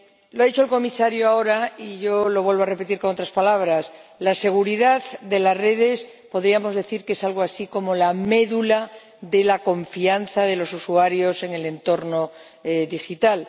Lo ha dicho el Comisario ahora y yo lo vuelvo a repetir con otras palabras la seguridad de las redes podríamos decir que es algo así como la médula de la confianza de los usuarios en el entorno digital.